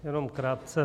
Jenom krátce.